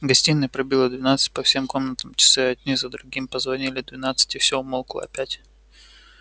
в гостиной пробило двенадцать по всем комнатам часы одни за другими прозвонили двенадцать и все умолкло опять